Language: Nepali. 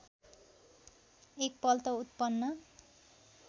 एक पल्ट उत्पन्न